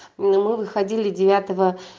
но мы выходили девятого